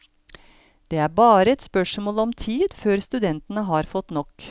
Det er bare et spørsmål om tid før studentene har fått nok.